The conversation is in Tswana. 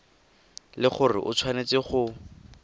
le gore o tshwanetse go